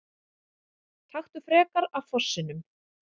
Taktu frekar af fossinum!